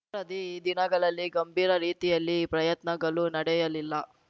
the ದಿನಗಳಲ್ಲಿ ಗಂಭೀರ ರೀತಿಯಲ್ಲಿ ಪ್ರಯತ್ನಗಳು ನಡೆಯಲಿಲ್ಲ